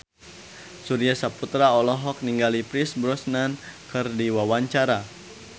Surya Saputra olohok ningali Pierce Brosnan keur diwawancara